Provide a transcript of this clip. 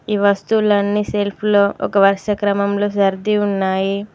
ఈ వస్తువులన్నీ సెల్ఫ్ లో ఒక వరుస క్రమంలో సర్ది ఉన్నాయి.